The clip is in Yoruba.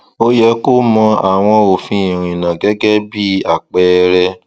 ó yẹ kó mọ àwọn òfin ìrìnnà gẹgẹ bí apẹẹrẹ